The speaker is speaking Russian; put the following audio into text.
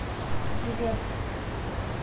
елец